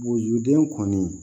Wojuruden kɔni